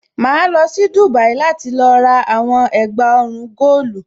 Màá lọ sí Dubai láti lọ rà àwọn ẹ̀gbà ọrùn góòlù.